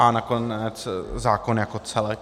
A nakonec zákon jako celek.